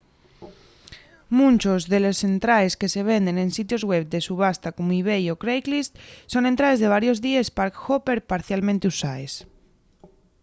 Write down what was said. munchos de les entraes que se venden en sitios web de subasta como ebay o craiglist son entraes de varios díes park-hopper parcialmente usaes